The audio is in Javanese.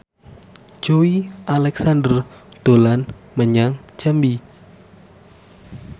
Joey Alexander dolan menyang Jambi